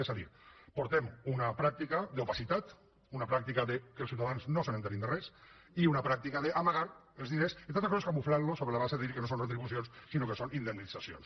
és a dir portem una pràctica d’opacitat una pràctica que els ciutadans no s’assabentin de res i una pràctica d’amagar els diners entre altres coses camuflant los sobre la base de dir que no són retribucions sinó que són indemnitzacions